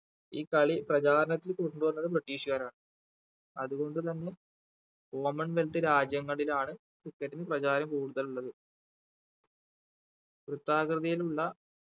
ഈ കളി പ്രചാരണത്തിൽ കൊണ്ട് വന്നത് british കാരാണ് അതുകൊണ്ട് തന്നെ common wealth രാജ്യങ്ങളിലാണ് cricket ന് പ്രചാരം കൂടുതൽ ഉള്ളത് വൃത്താകൃതിയിൽ ഉള്ള